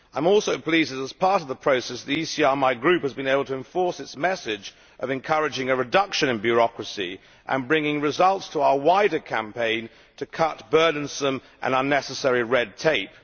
I am also pleased that, as part of the process, the ECR my Group has been able to enforce its message of encouraging a reduction in bureaucracy and bringing results to our wider campaign to cut burdensome and unnecessary red tape.